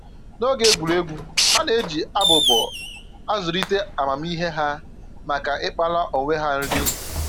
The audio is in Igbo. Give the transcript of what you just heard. N'oge egwuregwu, ha na-eji abụbọ a zụlite amamihe ha maka ịkpara onwe ha nri